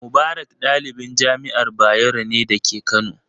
Mubarak ɗalibin jami'ar Bayero ne da ke Kano.